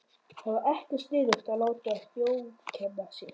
Það var ekkert sniðugt að láta þjófkenna sig.